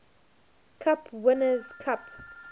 cup winners cup